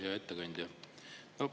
Hea ettekandja!